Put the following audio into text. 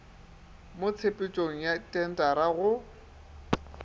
mo tshepetšong ya thentara go